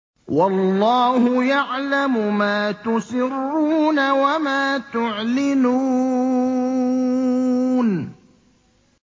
وَاللَّهُ يَعْلَمُ مَا تُسِرُّونَ وَمَا تُعْلِنُونَ